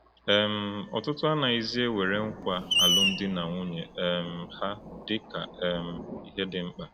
um Ọtụtụ anaghịzi ewere nkwa alụmdi na nwunye um ha dị ka um ihe dị mkpa.